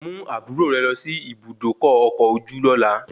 Mú àbúrò rẹ lọ sí Ibùdókọ̀ ọkọ̀ ojú lóla